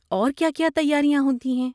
اور کیا کیا تیاریاں ہوتی ہیں؟